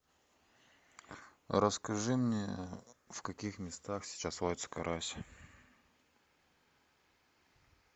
расскажи мне в каких местах сейчас водится карась